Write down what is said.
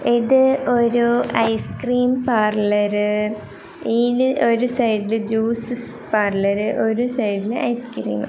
ഇത് ഒരു ice cream parlour ഇയില് ഒരു സൈഡിൽ ജ്യൂസ് പാർലർ ഒരു സൈഡിൽ ഐസ്ക്രീം .